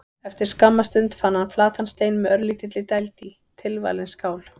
Eftir skamma stund fann hann flatan stein með örlítilli dæld í: tilvalin skál.